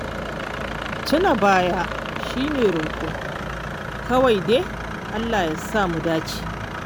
Tuna baya shi ne roƙo, kawai dai Allah ya samu dace.